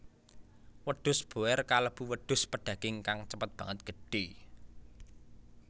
Wedhus boer kalebu wedhus pedaging kang cepet banget gedhé